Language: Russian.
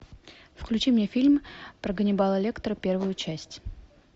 включи мне фильм про ганнибала лектора первую часть